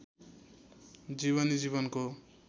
जीवनी जीवनको